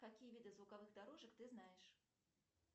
какие виды звуковых дорожек ты знаешь